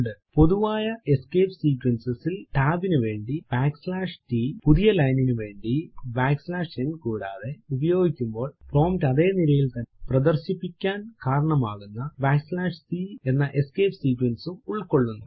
പൊതുവായ escape sequences ൽ tab നുവേണ്ടി t പുതിയ ലൈനിന് വേണ്ടി n കൂടാതെ ഉപയോഗിക്കുമ്പോൾ പ്രോംപ്റ്റ് അതെ നിരയിൽ തന്നെ പ്രദർശിപ്പിക്കാൻ കാരണമാകുന്ന c എന്ന എസ്കേപ്പ് sequence ഉം ഉൾകൊള്ളുന്നു